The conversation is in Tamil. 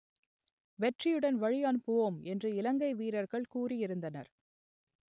வெற்றியுடன் வழி அனுப்புவோம் என்று இலங்கை வீரர்கள் கூறியிருந்தனர்